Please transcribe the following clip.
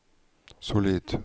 solid